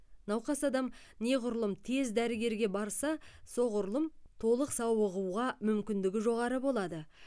науқас адам неғұрлым тез дәрігерге барса соғұрлым толық сауығуға мүмкіндігі жоғары болады